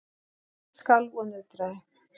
Gólfið skalf og nötraði.